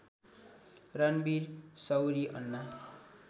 Ranveer Shorey Anna